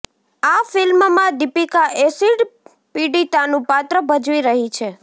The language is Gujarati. આ ફિલ્મમાં દીપીકા એસિડ પિડિતાનું પાત્ર ભજવી રહી છે